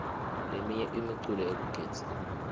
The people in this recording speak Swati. leminye imiculo yekugidza